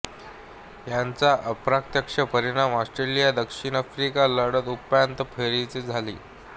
याचा अप्रत्यक्ष परिणाम ऑस्ट्रेलियादक्षिण आफ्रिका लढत उपांत्य फेरीतच झाली